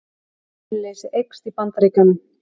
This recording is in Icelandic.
Atvinnuleysi eykst í Bandaríkjunum